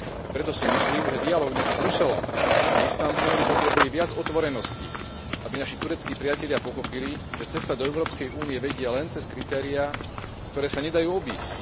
Preto si myslím, že dialóg medzi Bruselom a Istanbulom potrebuje viac otvorenosti, aby naši tureckí priatelia pochopili, že cesta do Európskej únie vedie len cez kritériá, ktoré sa nedajú obísť.